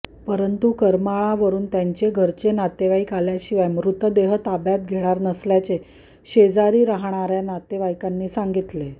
परंतु करमाळा वरून त्यांचे घरचे नातेवाईक आल्याशिवाय मृतदेह ताब्यात घेणार नसल्याचे शेजारी राहणाऱ्या नातेवाईकांनी सांगितले